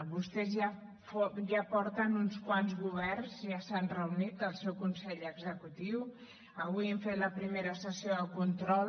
vostès ja porten uns quants governs ja s’ha reunit el seu consell executiu avui hem fet la primera sessió de control